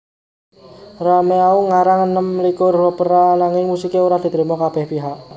Rameau ngarang enem likur Opera ananging musiké ora diterima kabéh pihak